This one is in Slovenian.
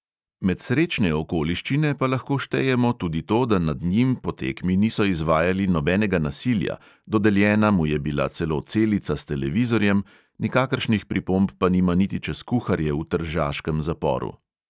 Med srečne okoliščine pa lahko štejemo tudi to, da nad njim po tekmi niso izvajali nobenega nasilja, dodeljena mu je bila celo celica s televizorjem, nikakršnih pripomb pa nima niti čez kuharje v tržaškem zaporu.